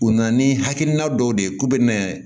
U nana ni hakilina dɔw de ye k'u bɛ nɛ